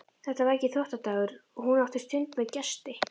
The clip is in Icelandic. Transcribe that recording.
Þetta var ekki þvottadagur og hún átti stund með gesti.